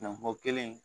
kelen